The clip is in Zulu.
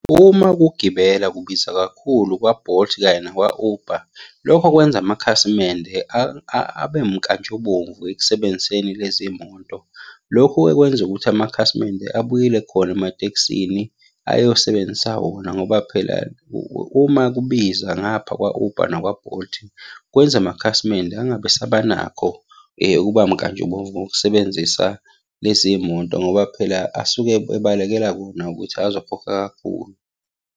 Uma ukugibela kubiza kakhulu kwa-Bolt kanye nakwa-Uber, lokho kwenza amakhasimende abe mnkantshubomvu ekusebenziseni lezi moto. Lokhu-ke kwenza ukuthi amakhasimende abuyele khona ematekisini, ayosebenzisa wona ngoba phela uma kubiza ngapha kwa-Uber nakwa-Bolt, kwenza amakhasimende angabe esaba nakho ukuba mkantshubomvu ngokusebenzisa lezi moto, ngoba phela asuke ebalekela kona ukuthi azokhokha kakhulu.